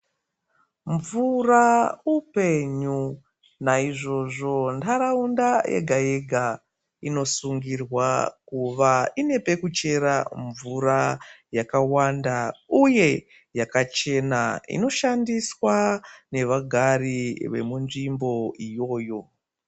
Mvura upenyu naizvozvo ntaraunda yega yega inosungirwa kuva Inepekuchera mvura yakawanda uye takachena inoshandiswa nevagari vemunzvimbo iyoyo.